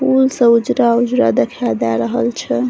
फूल सब उजरा-उजरा देखाई दे रहल छे।